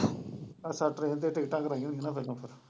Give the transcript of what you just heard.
ਅੱਛਾ ਟਰੇਨ ਤੇ ਟਿੱਕਟਾਂ ਕਰਵਾਇਆਂ ਹੋਈਆਂ ਨਾ ਪਹਿਲੋਂ ਤੋਂ।